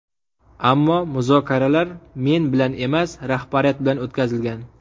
Ammo muzokaralar men bilan emas, rahbariyat bilan o‘tkazilgan.